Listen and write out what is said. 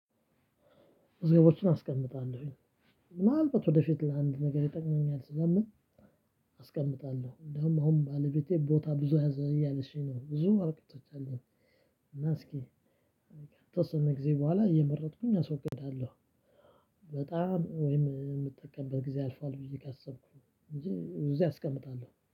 መዝገቦችን አስቀምጣለሁኝ ምናልባት ወደፊት ለአንድ ነገር ይጠቅመኛል ስለምል። አስቀምጣለሁ እንደውም አሁን ባለቤቴ ቦታ ብዙ ያዘ እያለችኝ ነው ብዙ ወረቀቶች አለኝ። እና እስኪ ከተወሰነ ጊዜ በኋላ እየመረጥኩኝ አስወግዳለሁ። በጣም የምጠቀምበት ጊዜ አልፏል ብዬ ካሰብኩኝ እንጂ እዚህ አስቀምጣለሁ